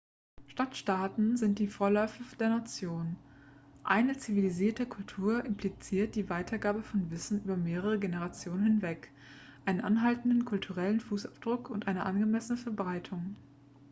stadtstaaten sind die vorläufer der nationen eine zivilisierte kultur impliziert die weitergabe von wissen über mehrere generationen hinweg einen anhaltenden kulturellen fußabdruck und eine angemessene verbreitung